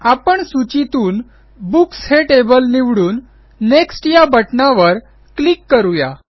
आपण सूचीतून बुक्स हे टेबल निवडून नेक्स्ट या बटणावर क्लिक करू या